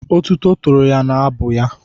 Otuto tòrò ya n'abụ ya.